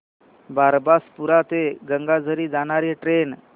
बारबासपुरा ते गंगाझरी जाणारी ट्रेन